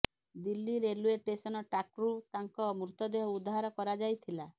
Delhi railway station ଟ୍ରାକ୍ରୁ ତାଙ୍କ ମୃତଦେହ ଉଦ୍ଧାର କରାଯାଇଥିଲା